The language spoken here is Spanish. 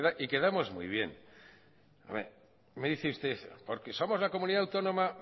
y quedamos muy bien me dice usted porque somos la comunidad autónoma